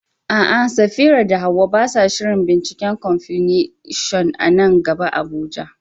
A'a, Safira da Hawwa ba sa shirin binciken Confucianism a nan gaba a Abuja.